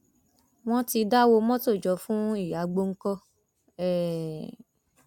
wọn ti dáwọ mọtò jọ fún ìyá gbọǹkan um